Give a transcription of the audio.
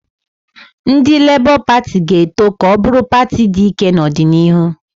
Ndị Lebọ Pati ga-eto ka ọ bụrụ pati dị ike n'ọdịnihu